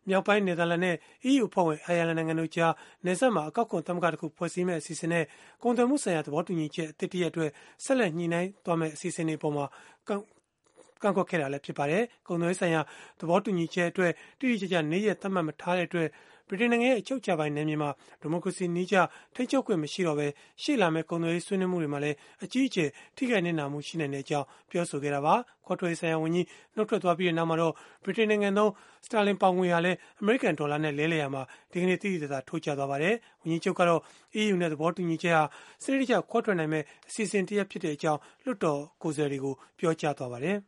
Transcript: မြောက်ပိုင်းနယ်သာလန်နဲ့ EU အဖွဲ့ဝင် အိုင်ယာလန်နိုင်ငံတို့ကြား နယ်စပ် မှာ အကောက်ခွန်သမဂ္ဂတခု ဖွဲ့စည်းမယ့် အစီအစဉ်နဲ့ ကုန်သွယ်မှုဆိုင်ရာ သဘောတူညီချက် အသစ် တရပ်အတွက် ဆက်လက် ညှိနှိုင်းမယ့် အစီအစဉ်တွေအပေါ် ကန့်ကွက်နေတာလည်း ဖြစ်ပါတယ်။ ကုန်သွယ်ရေးဆိုင်ရာ သဘောတူညီချက်အတွက် တိတိကျကျ နေ့ရက်သတ်မှတ် မထားတဲ့အတွက် ဗြိတိန်နိုင်ငံရဲ့ အချုပ်အခြာပိုင် နယ်မြေမှာ ဒီမိုကရေစီနည်းကျ ထိန်းချုပ်ခွင့် မရှိနိုင်တော့ဘဲ ရှေ့လာမယ့် ကုန်သွယ်ရေး ဆွေးနွေးမှုတွေ မှာလည်း အကြီးအကျယ် နစ်နာနိုင်ကြောင်း ပြောဆိုခဲ့တာပါ။ ခွဲထွက်ရေးဆိုင်ရာဝန်ကြီး နုတ်ထွက်သွားပြီး နောက်မှာတော့ ဗြိတိန်နိုင်ငံသုံး ပေါင်ငွေဟာလည်း အမေရိကန် ဒေါ်လာနဲ့ လဲလှယ်ရာမှာ ဒီကနေ့ သိသိသာသာ ကျဆင်းသွားပါတယ်။ ဝန်ကြီးချုပ်ကတော့ EU နဲ့ သဘော တူညီချက်ဟာ စနစ်တကျခွဲထွက်နိုင်မယ့် အစီအစဉ် ဖြစ်တဲ့အကြောင်း လွှတ်တော်မှာ ပြောကြားသွားပါတယ်